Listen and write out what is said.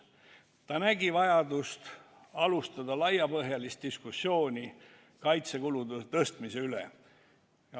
Ta nägi vajadust alustada laiapõhjalist diskussiooni kaitsekulude suurendamise üle.